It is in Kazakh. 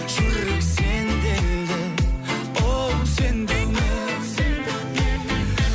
жүрек сенделді оу сен деумен оу сен деумен